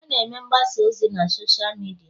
a na-eme mgbasa ozi na Sọsha midia